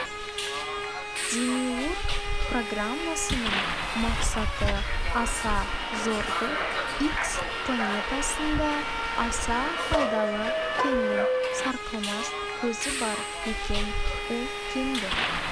демиург программасының мақсаты аса зор-ды икс планетасында аса пайдалы кеннің сарқылмас көзі бар екен ол кенді